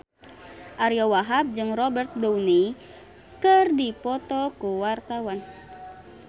Ariyo Wahab jeung Robert Downey keur dipoto ku wartawan